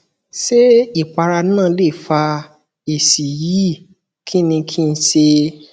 ṣé ìpara náà lè fa èsì yìí kí ni kí n ṣe